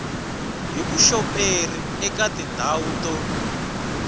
hi vuxoperi eka tindhawu to